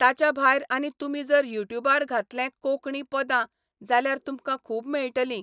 ताच्या भायर आनी तुमी जर युट्युबार घातले 'कोंकणी पदां', जाल्यार तुमकां खूब मेळटलीं.